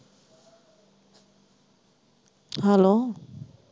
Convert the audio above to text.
hello